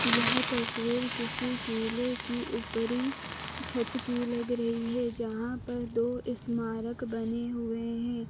यह तस्वीर किसी केले की ऊपरी छत की लग रही है जहां पर दो स्मारक बने हुए हैं।